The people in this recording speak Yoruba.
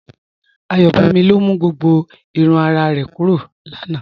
Ayọbámí ló mú gbogbo ìrùn àrà rẹ̀ kúrọ̀ láńà.